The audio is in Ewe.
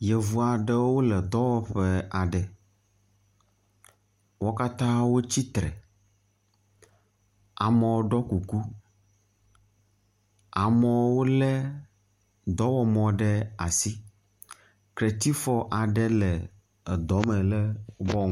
Yevu aɖewo wo le dɔwɔƒe aɖe. wo katã wotsi tre. Amewo ɖɔ kuku. Amewo le dɔwɔmɔ ɖe asi. Kletifɔ aɖe le edɔ me le bɔŋ.